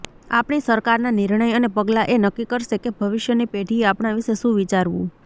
આપણી સરકારના નિર્ણય અને પગલાં એ નક્કી કરશે કે ભવિષ્યની પેઢીએ આપણા વિષે શું વિચારવું